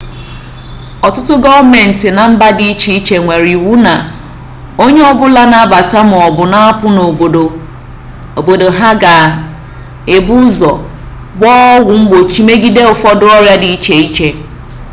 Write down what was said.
ọtụtụ gọọmenti na mba dị iche iche nwere iwu na onye ọbụla na-abata maọbụ na-apụ n'obodo ha ga-ebu ụzọ gbaa ọgwụ mgbochi megide ụfọdụ ọrịa dị iche iche